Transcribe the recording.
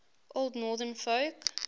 old northern folk